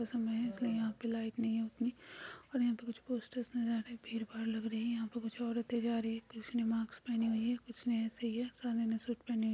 समय है इसलिए यहाँ पे लाइट नहीं है उतनी और यहाँ पे कुछ पोस्टर्स नज़र आ रहे हैं। भीड़-भाड़ लग रही हैयहाँ पे कुछ औरतें जा रही हैं कुछ ने मास्क पहने हुए हैं कुछ ने ऐसे ही है सारे ने सूट पहने हुए --